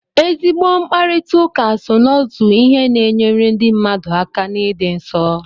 Ezigbo mkparịtaụka so n'otu ihe na-enyere ndị mmadu aka n'ịdị nsọ.